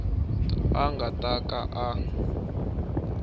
a nga ta ka a